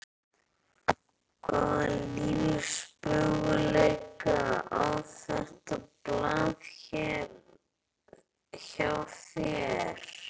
Hvaða lífsmöguleika á þetta blað hjá þér?